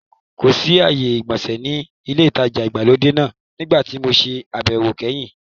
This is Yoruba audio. Kòsí ààyè ìgbọ̀nsẹ̀ ní ilé-ìtajà ìgbàlódé náà nígbà tí mo se àbẹ̀wọ̀ kẹ́yìn.